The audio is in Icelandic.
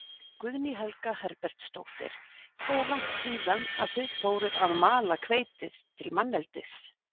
Guðný Helga Herbertsdóttir: Hvað er langt síðan að þið fóruð að mala hveitið til manneldis?